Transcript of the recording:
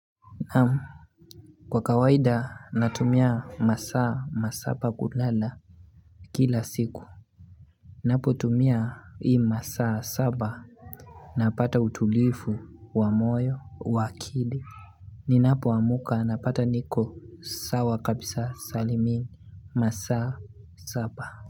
Kwa kawaida natumia masaa masaba kulala kila siku Napo tumia ii masaa saba napata utulifu wamoyo wakili Ninapo wamuka napata niko sawa kabisa salimini masaa saba.